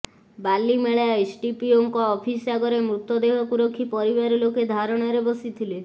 ବାଲିମେଳା ଏସ୍ଡିପିଓଙ୍କ ଅଫିସ୍ ଆଗରେ ମୃତଦେହକୁ ରଖି ପରିବାର ଲୋକେ ଧାରଣାରେ ବସିଥିଲେ